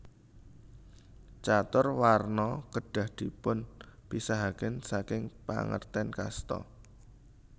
Catur Warna kedah dipunpisahaken saking pangerten kasta